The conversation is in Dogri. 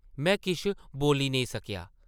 में किश बोल्ली नेईं सकेआ ।